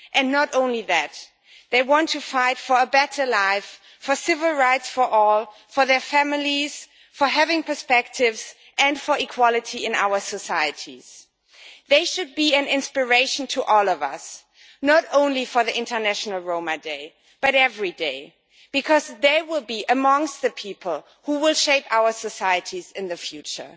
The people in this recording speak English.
Not only that, they want to fight for a better life, for civil rights for all, for their families, for prospects and for equality in our societies. They should be an inspiration to all of us, not only on International Roma Day, but every day, because they will be amongst the people who will shape our societies in the future.